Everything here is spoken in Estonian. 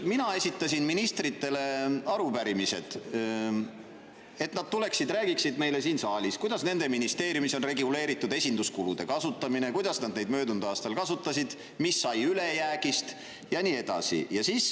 Mina esitasin ministritele arupärimised, et nad tuleksid ja räägiksid meile siin saalis, kuidas nende ministeeriumis on reguleeritud esinduskulude kasutamine, kuidas nad neid möödunud aastal kasutasid, mis sai ülejäägist ja nii edasi.